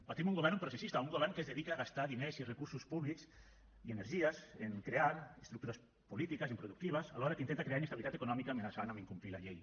patim un govern processista un govern que es dedica a gastar diners i recursos públics i energies en crear estructures polítiques improductives alhora que intenta crear inestabilitat econòmica amenaçant amb incomplir la llei